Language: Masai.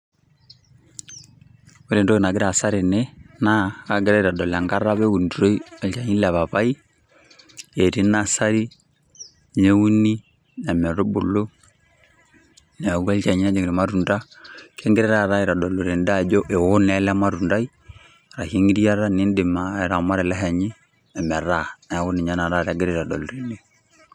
Ore etoki nagira aasa tene naa kagira aitodol ekata apa naunitoi olchani le papai, etii nasari neuni ometubulu neaku olchani ojing irmatunda, kegirae taa aitdolu tede aajo eo naa ele matundai ashu engiriata nidim aawa amu ore ele shani ometaa niaku ninye naa egirae aitodolu.